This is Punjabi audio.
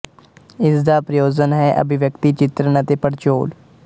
ਇਸ ਦਾ ਪ੍ਰਯੋਜਨ ਹੈ ਅਭਿਵਿਅਕਤੀ ਚਿਤ੍ਰਣ ਅਤੇ ਪੜਚੋਲ